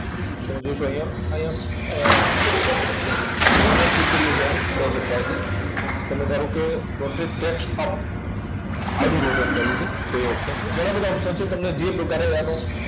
તમે જોશો અહીંયા, અહીંયા અર જેમ જેમ tick કરીએ છે એમ rotate થાય છે. તમે ધારો કે rotate text up આડું rotate કરવું છે, તો એ option છે. ઘણા બધા option છે. તમને જે પ્રકારે આનું